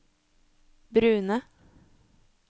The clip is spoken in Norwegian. brune